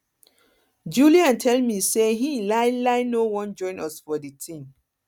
julian tell me say he um no wan join us for the thing